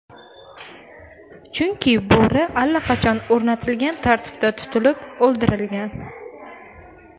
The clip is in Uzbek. Chunki bo‘ri allaqachon o‘rnatilgan tartibda tutilib, o‘ldirilgan.